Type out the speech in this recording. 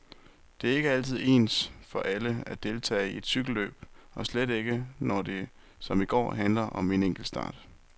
Det er ikke altid éns for alle at deltage i et cykelløb, og slet ikke, når det som i går handler om en enkeltstart.